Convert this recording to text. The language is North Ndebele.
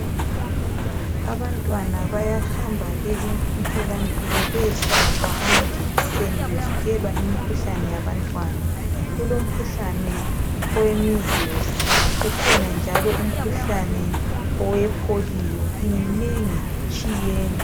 Abantwana bayahamba emtholampilo beyohlatshwa amajekiseni bevikelwa imikhuhlane yabantwana. Kulomkhuhlane owe mizilizi, kukhona njalo umkhuhlane owepholiyo. Iminengi itshiyene.